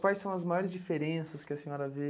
Quais são as maiores diferenças que a senhora vê?